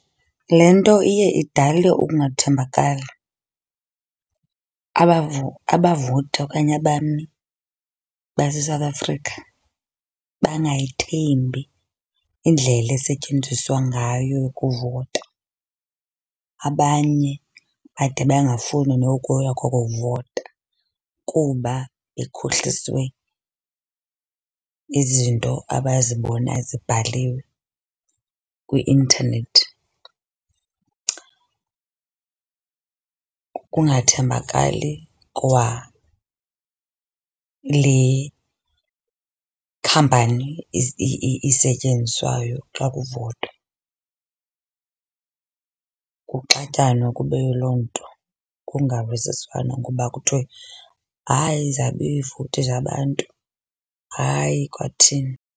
Le nto iye idale ukungathembakali, abavoti okanye abami base-South Africa bangayithembi indlela esetyenziswa ngayo ukuvota. Abanye bade bangafuni nokuya koko kuvota kuba bekhohliswe izinto abazibona zibhaliwe kwi-intanethi. Kungathembakali kwa le khampani isetyenziswayo xa kuvotwa. Kuxatyanwe kube yiloo nto kungavisiswana ngoba kuthwe hayi zabiwa iivoti zabantu, hayi kwathini.